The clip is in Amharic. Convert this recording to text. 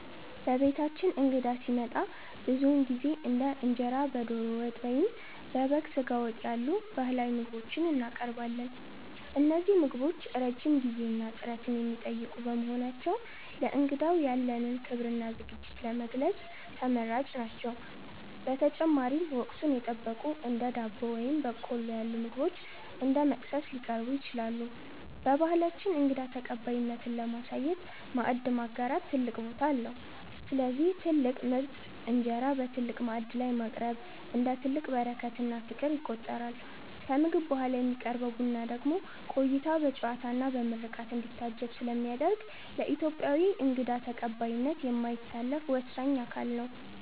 በቤታችን እንግዳ ሲመጣ ብዙውን ጊዜ እንደ እንጀራ በዶሮ ወጥ ወይም በበግ ስጋ ወጥ ያሉ ባህላዊ ምግቦችን እናቀርባለን። እነዚህ ምግቦች ረጅም ጊዜና ጥረት የሚጠይቁ በመሆናቸው፣ ለእንግዳው ያለንን ክብርና ዝግጅት ለመግለጽ ተመራጭ ናቸው። በተጨማሪም፣ ወቅቱን የጠበቁ እንደ ዳቦ ወይም በቆሎ ያሉ ምግቦች እንደ መክሰስ ሊቀርቡ ይችላሉ። በባህላችን እንግዳ ተቀባይነትን ለማሳየት "ማዕድ ማጋራት" ትልቅ ቦታ አለው፤ ስለዚህ ትልቅ ምርጥ እንጀራ በትልቅ ማዕድ ላይ ማቅረብ፣ እንደ ትልቅ በረከትና ፍቅር ይቆጠራል። ከምግብ በኋላ የሚቀርበው ቡና ደግሞ ቆይታው በጨዋታና በምርቃት እንዲታጀብ ስለሚያደርግ፣ ለኢትዮጵያዊ እንግዳ ተቀባይነት የማይታለፍ ወሳኝ አካል ነው።